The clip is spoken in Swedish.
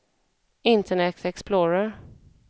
internet explorer